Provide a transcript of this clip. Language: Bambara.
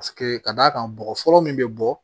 Paseke ka d'a kan bɔgɔ fɔlɔ min bɛ bɔ